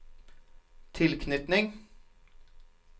tilknytning